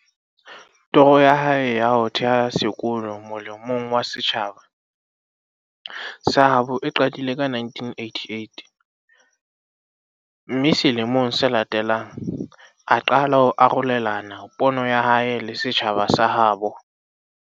Toro ya hae ya ho theha sekolo mole mong wa setjhaba sa habo e qadile ka 1988, mme sele mong se latelang, a qala ho arolelana pono ya hae le setjhaba sa ha habo.